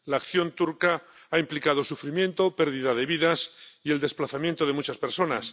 La acción turca ha implicado sufrimiento, pérdida de vidas y el desplazamiento de muchas personas.